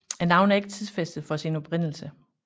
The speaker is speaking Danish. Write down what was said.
Navnet er ikke tidsfæstet for sin oprindelse